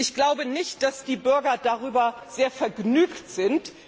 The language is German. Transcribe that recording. Ich glaube nicht, dass die Bürger darüber sehr vergnügt sind.